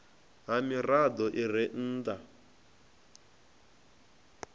ha mirado i re nnda